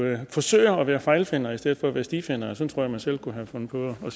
at forsøge at være fejlfinder i stedet for at være stifinder sådan man selv kunne have fundet på at